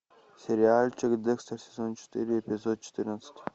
сериальчик декстер сезон четыре эпизод четырнадцать